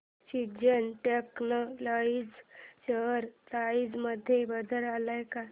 seasons textile share price मध्ये बदल आलाय का